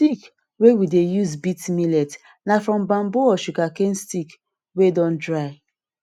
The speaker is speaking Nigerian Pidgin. stick wey we dey use beat millet na from bamboo or sugar cane stick wey don dry